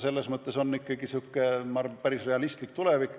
See on päris realistlik tulevik.